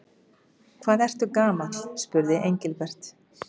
Hvað ertu gamall? spurði Engilbert.